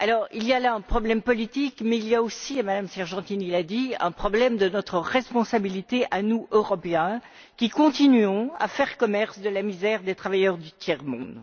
Il y a là un problème politique mais il y a aussi, comme Madame Sargentini l'a dit, un problème de notre responsabilité, à nous, Européens, qui continuons à faire commerce de la misère des travailleurs du tiers monde.